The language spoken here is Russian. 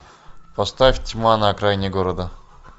поставь тьма на окраине города